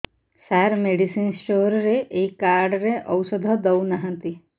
ସାର medicine store ରେ ଏଇ card ରେ ଔଷଧ ଦଉନାହାନ୍ତି